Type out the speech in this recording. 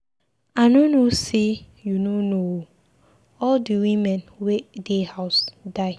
I no know say you no know ooo. All the Women wey dey house die.